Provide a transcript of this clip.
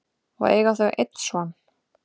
og eiga þau einn son.